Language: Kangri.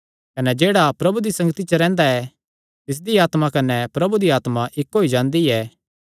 कने जेह्ड़ा प्रभु दी संगति च रैंह्दा ऐ तिसदी आत्मा कने प्रभु दी आत्मा इक्क होई जांदी ऐ